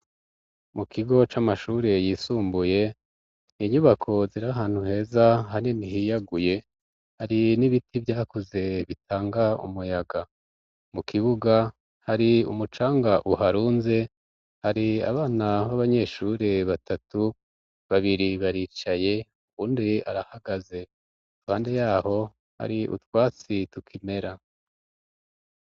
Mu kigo c'amashure yisumbuye inyubako zira hantu heza hane nihiyaguye hari n'ibiti vyakuze bitanga umuyaga mu kibuga hari umucanga uharunze hari abana b'abanyeshure batatu babiri baricaye uwundi arahagaze tande yaho ari utwatsi tukimera.